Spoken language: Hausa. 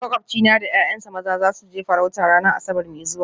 Makwabcina da ’ya’yansa maza za su je farauta ranar Asabar mai zuwa